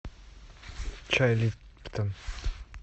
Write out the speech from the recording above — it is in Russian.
чай липтон